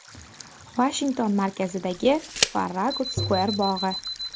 Vashington markazidagi Farragut Square bog‘i.